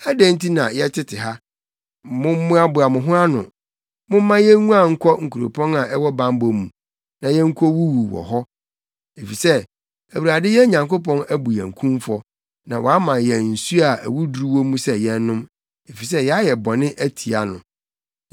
Adɛn nti na yɛtete ha? Mommoaboa mo ho ano! Momma yenguan nkɔ nkuropɔn a ɛwɔ bammɔ mu na yenkowuwu wɔ hɔ! efisɛ Awurade yɛn Nyankopɔn abu yɛn kumfɔ na wama yɛn nsu a awuduru wɔ mu sɛ yɛnnom, efisɛ yɛayɛ bɔne atia no.